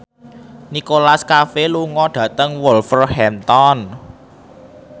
Nicholas Cafe lunga dhateng Wolverhampton